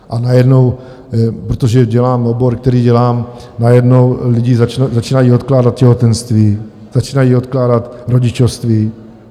A najednou, protože dělám obor, který dělám, najednou lidi začínají odkládat těhotenství, začínají odkládat rodičovství.